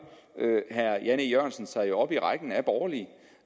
herre jan e jørgensen sig op i rækken af borgerlige